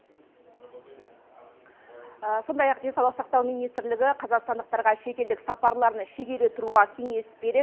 сондай ақ денсаулық сақтау министрлігі қазақстандықтарға шетелдік сапарларын шегере тұруға кеңес береді